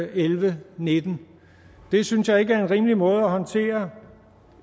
elleve nitten det synes jeg ikke er en rimelig måde at håndtere